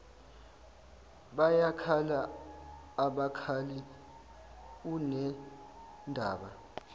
bayakhala abakhali unendaba